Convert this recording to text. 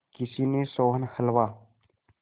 किसी ने सोहन हलवा